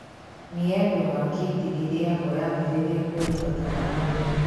Mĩembe wa keiti ĩrĩagwo yambĩrĩria kwĩrũha kana ĩ mĩĩthĩ